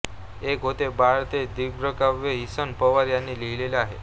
एक होते बाळ हे दीर्घकाव्य किसन पवार यांनी लिहिले आहे